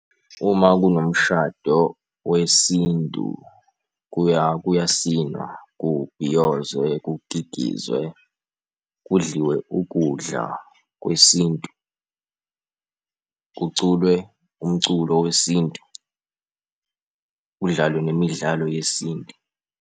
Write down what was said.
Uma kunomshado wesintu kuyasinwa, kubhiyozwe, kukikizwe, kudliwe ukudla kwesintu, kuculwe umculo wesintu, kudlalwe nemidlalo yesintu.